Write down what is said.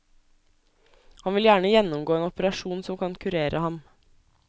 Han vil gjerne gjennomgå en operasjon som kan kurere ham.